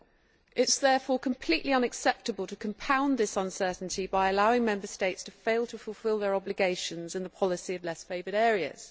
It is therefore completely unacceptable to compound this uncertainty by allowing Member States to fail to fulfil their obligations in the policy of less favoured areas.